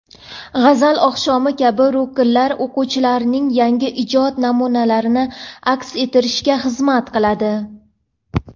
"G‘azal oqshomi" kabi ruknlar o‘quvchilarning yangi ijod namunalarini aks ettirishga xizmat qiladi.